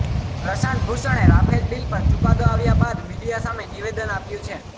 પ્રશાંત ભૂષણે Rafale deal પર ચુકાદો આવ્યા બાદ મીડિયા સામે નિવેદન આપ્યુ છે